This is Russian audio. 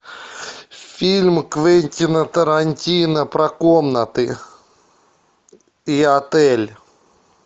фильм квентина тарантино про комнаты и отель